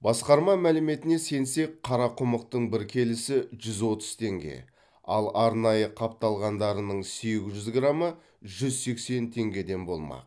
басқарма мәліметіне сенсек қарақұмықтың бір келісі жүз отыз теңге ал арнайы қапталғандарының сегіз жүз грамы жүз сексен теңгеден болмақ